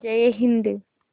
जय हिन्द